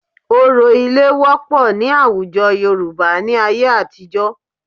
Òrò ilé wọ́pọ̀ ní àwùjọ Yorùbá ní ayé àtijọ́